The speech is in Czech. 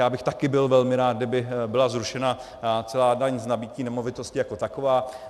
Já bych také byl velmi rád, kdyby byla zrušena celá daň z nabytí nemovitosti jako taková.